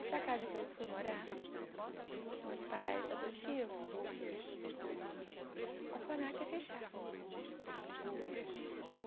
Essa casa que eu fui morar, meus pais adotivos, o orfanato ia fechar.